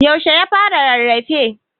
yaushe ya fara rarrafe?